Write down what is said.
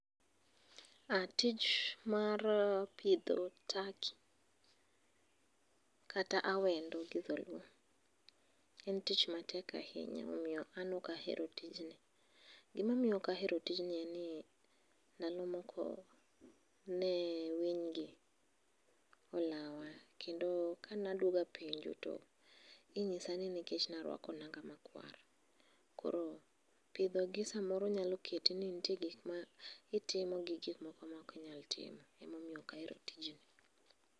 Ah tich mar pidho turkey, kata awedo gi dholuo, en tich matek ahinya momiyo an ok ahero tijni. Gimomiyo ok ahero tijni en ni, ndalo moko ne winygi olawa, kendo ka nadwogo apenjo, to inyisa ni nikech ne aruako nanga makwar. Koro pidhogi samoro nyalo keti ni ntie gik ma itimo gi gikmoko ma ok inyal timo. Emomiyo ok ahero tijni.